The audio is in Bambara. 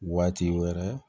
Waati wɛrɛ